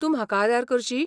तूं म्हाका आदार करशी?